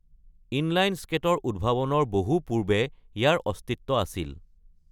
Inline স্কেটৰ উদ্ভাৱনৰ বহু পূৰ্বে ইয়াৰ অস্তিত্ব আছিল।